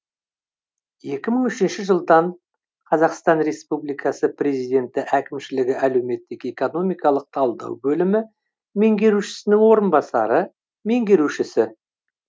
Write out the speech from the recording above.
екі мың үшінші жылдан қазақстан республикасы президенті әкімшілігі әлеуметтік экономикалық талдау бөлімі меңгерушісінің орынбасары меңгерушісі